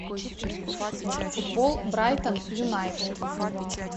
футбол брайтон юнайтед